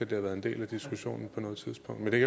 det har været en del af diskussionen på noget tidspunkt men det